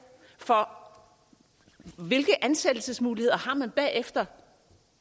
for hvilke ansættelsesmuligheder har man bagefter